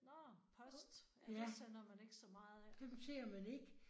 Nåh post. Ja det sender man ikke så meget af